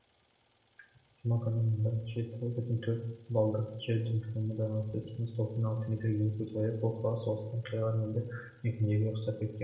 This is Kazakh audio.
жұма күні мұнда жеті бүтін төрт баллдық жер дүмпуіне байланысты теңіз толқыны алты метрге дейін көтеріліп бұл қала соғыстан қираған елді мекендерге ұқсап кеткен